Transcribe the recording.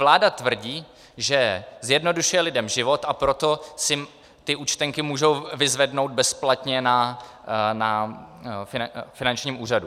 Vláda tvrdí, že zjednodušuje lidem život, a proto si ty účtenky můžou vyzvednout bezplatně na finančním úřadě.